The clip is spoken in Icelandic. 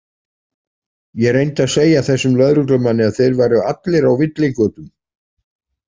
Ég reyndi að segja þessum lögreglumanni að þeir væru allir á villigötum.